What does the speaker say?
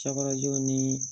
Cɛkɔrɔjɔw ni